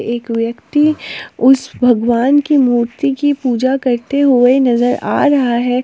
एक व्यक्ति उस भगवान की मूर्ति की पूजा करते हुए नजर आ रहा है।